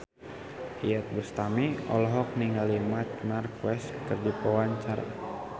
Iyeth Bustami olohok ningali Marc Marquez keur diwawancara